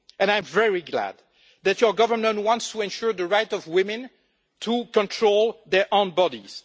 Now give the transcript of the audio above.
I am very glad that your government wants to ensure the right of women to control their own bodies.